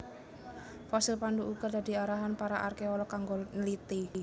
Fosil Pandu uga dadi arahan para arkeolog kanggo nliti